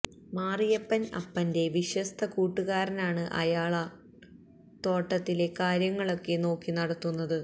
മാറിയപ്പൻ അപ്പന്റെ വിശ്വസ്ത കൂട്ടുകാരനാണ് അയാളാണ് തോട്ടത്തിലെ കാര്യങ്ങളൊക്കെ നോക്കി നടത്തുന്നത്